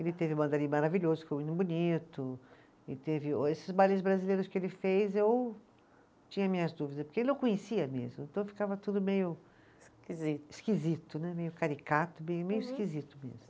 Ele teve o maravilhoso, que foi muito bonito, e teve o esses bailes brasileiros que ele fez, eu tinha minhas dúvidas, porque ele não conhecia mesmo, então ficava tudo meio. Esquisito. Esquisito, né, meio caricato, meio meio esquisito mesmo.